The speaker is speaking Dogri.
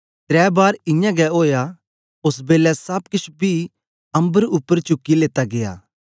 त्रै बार इयां गै ओआ ओस बेलै सब केछ पी अम्बर उपर चुकी लेता गीया